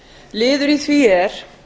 liður í því er